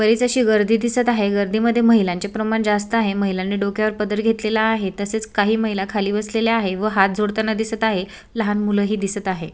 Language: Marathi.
बरीच अशी गर्दी दिसत आहे गर्दीमध्ये महिलांचे प्रमाण जास्त आहे महिलांनी डोक्यावर पदर घेतलेला आहे तसेच काही महिला खाली बसलेल्या आहे व हात जोडताना दिसत आहे लहान मुलंही दिसत आहे.